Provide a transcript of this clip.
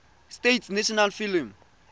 states national film